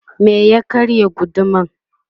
me ya karya gudumar?